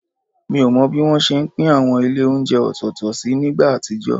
Mi ò mọ bí wọ́n ṣe ń pín àwọn ilé oúnjẹ ọ̀tọ̀ọ̀tọ̀ sí nígbà àtijọ́